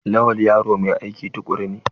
Lawal yaro mai aiki tukuru ne?